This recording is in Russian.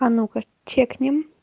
а ну ка чекнем